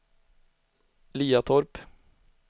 Liatorp